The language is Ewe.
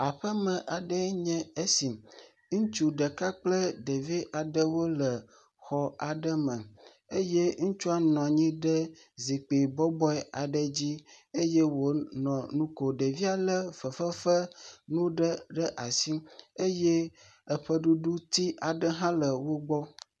Aƒe me aɖee nye esi, ŋutsu ɖeka kple ɖevi aɖewo le xɔ aɖe me eye ŋutsua nɔ anyi ɖe zikpui bɔbɔe aɖe dzi eye wònɔ nu kom, ɖevia lé fefe fe nu aɖe ɖe asi eye eƒeɖuɖuti aɖe hã le wo gbɔ.